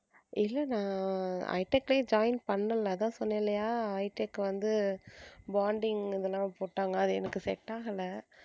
இல்ல நான் high tech லயே join பண்ணல அதான் சொன்னேன்லயா high tech வந்து bonding அதெல்லாம் போட்டாங்க அது எனக்கு set ஆகல.